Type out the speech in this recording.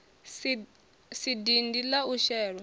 si dindi la u shelwa